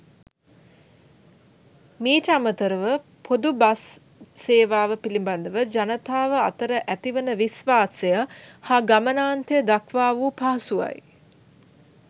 මීට අමතරව පොදු බස් සේවාව පිළිබඳව ජනතාව අතර ඇති වන විශ්වාසය හා ගමනාන්තය දක්වා වූ පහසුවයි.